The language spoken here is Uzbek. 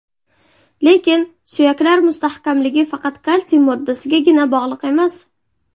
Lekin, suyaklar mustahkamligi faqat kalsiy moddasigagina bog‘liq emas.